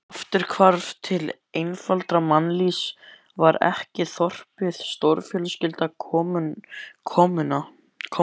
Afturhvarf til einfaldara mannlífs, var ekki þorpið stórfjölskylda, kommúna?